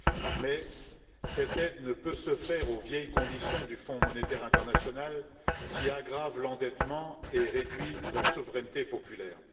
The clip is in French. Mais cette aide ne peut se faire aux vieilles conditions du Fonds monétaire international, qui aggravent l'endettement et réduisent la souveraineté populaire.